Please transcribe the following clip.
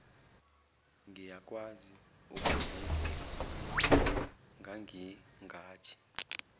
ngiyakwazi ukuzenzela ngangingathi